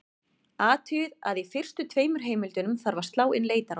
Athugið að í fyrstu tveimur heimildunum þarf að slá inn leitarorð.